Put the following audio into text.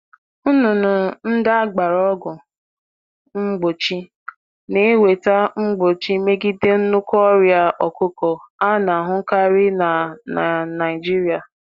Anụ ọkụkọ e nyere ọgwụ mgbochi na-emepụta ọgwụ mgbochi na-emepụta um ikike um iguzogide ọrịa kachasị um na Naigiria.